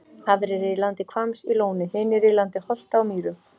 Aðrir eru í landi Hvamms í Lóni, hinir í landi Holta á Mýrum.